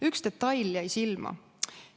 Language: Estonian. Üks detail jäi silma.